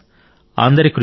అందరి కృషి